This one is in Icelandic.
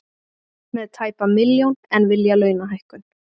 Með tæpa milljón en vilja launahækkun